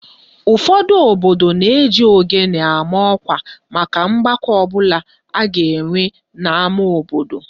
Ụfọdụ obodo na-eji ogene ama ọkwa maka ọgbakọ ọbụla a ga-enwe n'ama obodo